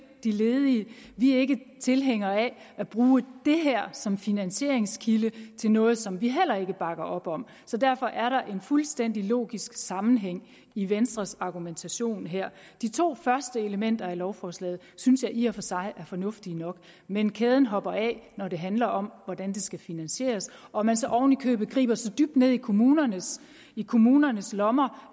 de ledige vi er ikke tilhængere af at bruge det her som finansieringskilde til noget som vi heller ikke bakker op om så derfor er der en fuldstændig logisk sammenhæng i venstres argumentation her de to første elementer i lovforslaget synes jeg i og for sig er fornuftige nok men kæden hopper af når det handler om hvordan det skal finansieres og man så ovenikøbet griber så dybt ned i kommunernes i kommunernes lommer